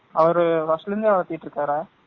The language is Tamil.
அவரு first ல இருந்தே வலதிட்டு இருக்கரா